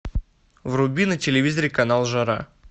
вруби на телевизоре канал жара